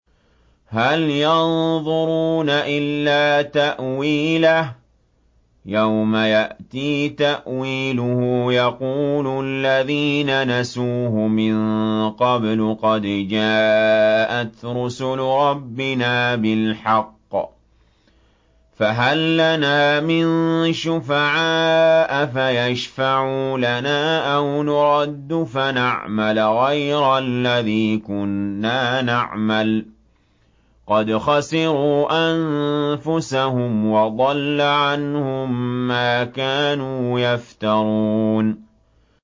هَلْ يَنظُرُونَ إِلَّا تَأْوِيلَهُ ۚ يَوْمَ يَأْتِي تَأْوِيلُهُ يَقُولُ الَّذِينَ نَسُوهُ مِن قَبْلُ قَدْ جَاءَتْ رُسُلُ رَبِّنَا بِالْحَقِّ فَهَل لَّنَا مِن شُفَعَاءَ فَيَشْفَعُوا لَنَا أَوْ نُرَدُّ فَنَعْمَلَ غَيْرَ الَّذِي كُنَّا نَعْمَلُ ۚ قَدْ خَسِرُوا أَنفُسَهُمْ وَضَلَّ عَنْهُم مَّا كَانُوا يَفْتَرُونَ